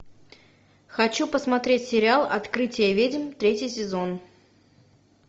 хочу посмотреть сериал открытие ведьм третий сезон